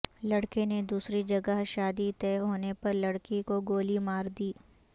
لڑکے نے دوسری جگہ شادی طے ہونے پر لڑکی کو گولی ماردی